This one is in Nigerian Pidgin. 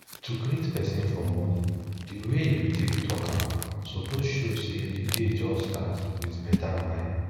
to greet person for morning the way you take talk am suppose show say the day just start with better vibe